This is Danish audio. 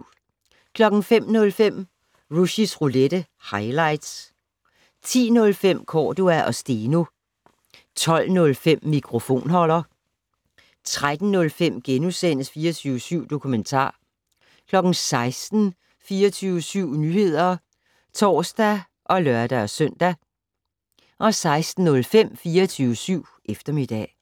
05:05: Rushys Roulette - highlights 10:05: Cordua & Steno 12:05: Mikrofonholder 13:05: 24syv Dokumentar * 16:00: 24syv Nyheder (tor og lør-søn) 16:05: 24syv Eftermiddag